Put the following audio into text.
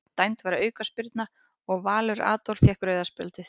Dæmd var aukaspyrna og Valur Adolf fékk rauða spjaldið.